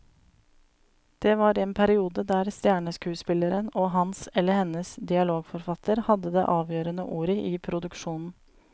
Det var en periode der stjerneskuespilleren og hans eller hennes dialogforfatter hadde det avgjørende ordet i produksjonen.